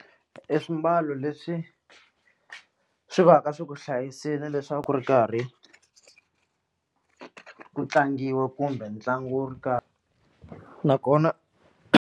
I swimbalo leswi swi va ka swi ku hlayisile leswi a ku ri karhi ku tlangiwa kumbe ntlangu wo karhi na kona.